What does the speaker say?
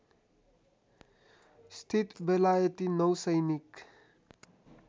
स्थित बेलायती नौसैनिक